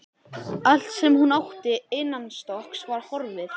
Allt sem hún átti innanstokks var horfið.